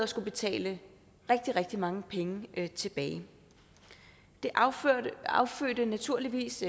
skulle betale rigtig rigtig mange penge tilbage det affødte det affødte naturligvis